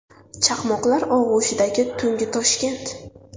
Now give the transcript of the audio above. Chaqmoqlar og‘ushidagi tungi Toshkent.